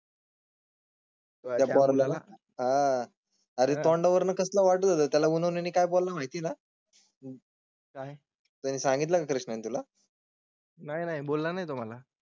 रिफंडवर कसं वाटत होता त्याला कोणी काही बोल माहिती नाही आहे तरी सांगितलं कृष्णा तुला. नाही नाही बोलला नाही तुम्हाला.